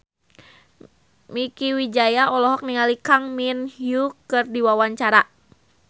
Mieke Wijaya olohok ningali Kang Min Hyuk keur diwawancara